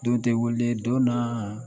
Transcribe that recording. Don tɛ wele don na